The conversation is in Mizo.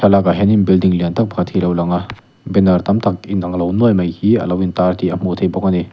lakah hianin building lian tak pakhat hi a lo lang a banner tam tak inang lo nuai mai hi a intar tih a hmuh theih bawk a ni.